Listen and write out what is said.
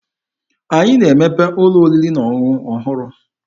Anyị na-emepe ụlọ oriri na ọṅụṅụ ọhụrụ.